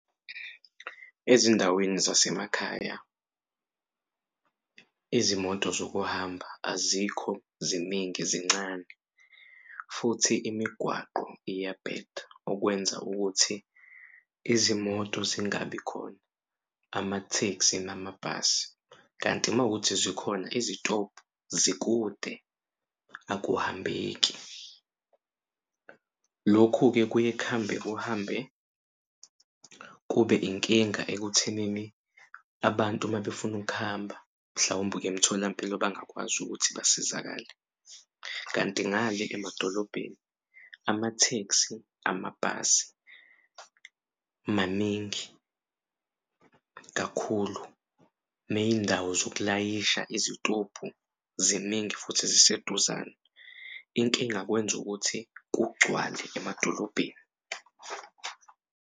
Ezindaweni zasemakhaya izimoto zokuhamba azikho ziningi zincane futhi imigwaqo iyabheda okwenza ukuthi izimoto zingabi khona amathekisi namabhasi kanti makuwukuthi zikhona izitobhu zikude akuhambeki. Lokhu-ke kuye kuhambe kuhambe kube inkinga ekuthenini abantu mabefuna ukuhamba mhlawumbe ukuya emtholampilo bangakwazi ukuthi basizakale. Kanti ngale emadolobheni amathekisi, amabhasi maningi kakhulu ney'ndawo zokulayisha izitobhu ziningi futhi ziseduzane inkinga kwenza ukuthi kugcwale emadolobheni.